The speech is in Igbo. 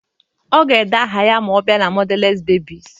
Ọ ga-ede aha ya ma ọ bịa na mọdales bebis